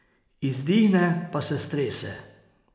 Izdihne pa se strese.